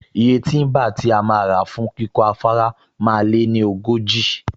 Iye tíḿbà tí a máa rà fún kíkọ́ afárá máa lé ní ogójì